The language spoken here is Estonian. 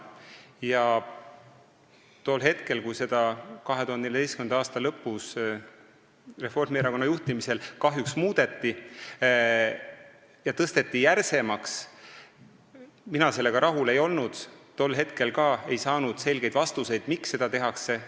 Ja kui seda kahjuks 2014. aasta lõpus Reformierakonna juhtimisel muudeti, neid tõuse järsemaks muudeti – mina sellega rahul ei olnud –, siis tol hetkel ei antud selgeid vastuseid, miks seda tehakse.